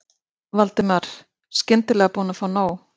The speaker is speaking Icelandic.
Valdimar, skyndilega búinn að fá nóg.